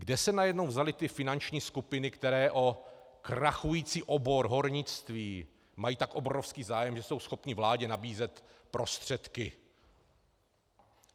Kde se najednou vzaly ty finanční skupiny, které o krachující obor hornictví mají tak obrovský zájem, že jsou schopny vládě nabízet prostředky?